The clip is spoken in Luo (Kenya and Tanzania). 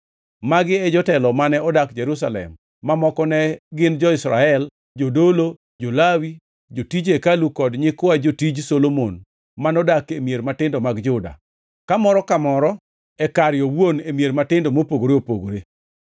Magi e jotelo mane odak Jerusalem mamoko ne gin jo-Israel, jodolo, jo-Lawi, jotij hekalu kod nyikwa jotij Solomon manodak e mier matindo mag Juda, ka moro ka moro e kare owuon e mier matindo mopogore opogore.